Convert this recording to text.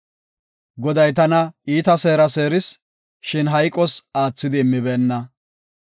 Goday tana iita seera seeris; shin hayqos aathidi immibeenna.